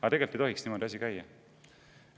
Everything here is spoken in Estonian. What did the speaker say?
Aga tegelikult ei tohiks asi niimoodi käia.